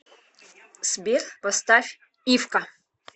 сбер поставь ивка